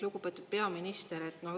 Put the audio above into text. Lugupeetud peaminister!